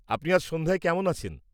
আপনি আজ সন্ধ্যায় কেমন আছেন?